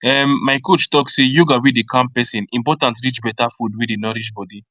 um my coach talk say yoga wey dey calm person important reach better food wey dey nourish body